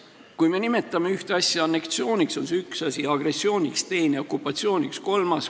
Kui me nimetame midagi anneksiooniks, on see üks asi, kui agressiooniks, siis teine, kui okupatsiooniks, siis kolmas.